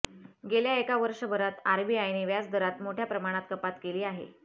गेल्या एका वर्षभरात आरबीआयने व्याजदरात मोठ्या प्रमाणात कपात केली आहे